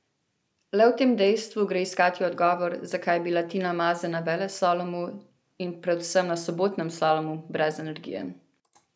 Le v tem dejstvu gre iskati odgovor, zakaj je bila Tina Maze na veleslalomu in predvsem na sobotnem slalomu brez energije.